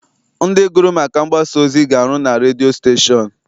Ndị gụrụ maka mgbasaozi ga-arụ na redio stashon.